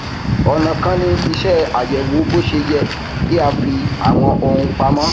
ọnà kan ni iṣẹ àyẹwò bó ṣe yẹ kí a fi àwọn ohun pamọ